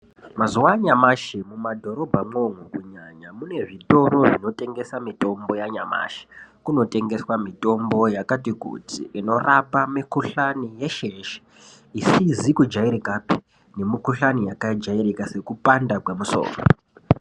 Mazuva anyamashi mumadhorobhamwo mune zvitoro zvinotengesa mutombo yanyamashi kunotengeswa mitombo yakati kuti inorapa mikuhlani yeshe yeshe isizi kujairikapi nemikuhlani yakajairika sekupanda kwemusoro.